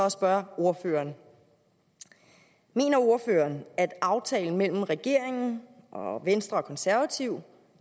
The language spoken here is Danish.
at spørge ordføreren mener ordføreren at aftalen mellem regeringen og venstre og konservative